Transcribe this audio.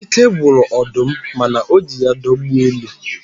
Ike gwụrụ ọdụm, mana o ji ya dọgbuo ele.